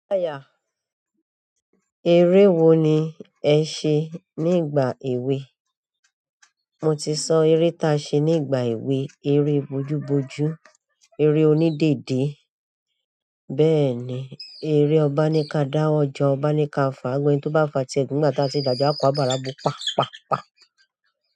Eré wo ni ẹ ṣe nígbà èwe? Mo ti sọ eré ta ṣe nígbà èwe, eré bojú bojú, eré onídèdé. Bẹ́ẹ̀ni, eré ọba ní ka dá, ọjà ọba ní ka fà, ẹ́ni tó bá fà tí ẹ̀gún ńlá tí a ti dàjà a kó àbàrá bó, pa, pa, pa.